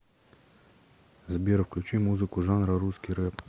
сбер включи музыку жанра русский рэп